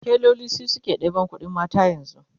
tailoli su suke ɗeban ƙuɗin mata yanzu